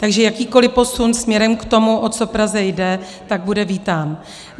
Takže jakýkoliv posun směrem k tomu, o co Praze jde, tak bude vítán.